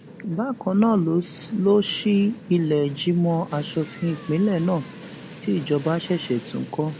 bákan náà ló ṣí ìlẹẹjìmọ aṣòfin ìpínlẹ náà tí ìjọba ṣẹṣẹ tún kọ